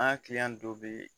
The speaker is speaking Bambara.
An ka dɔ bɛ yen